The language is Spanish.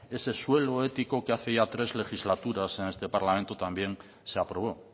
ese suelo ético que hace ya tres legislaturas en este parlamento también se aprobó